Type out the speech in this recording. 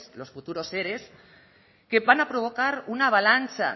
los futuros ere que van a provocar una avalancha